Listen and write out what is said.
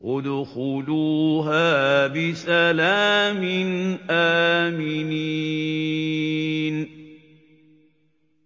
ادْخُلُوهَا بِسَلَامٍ آمِنِينَ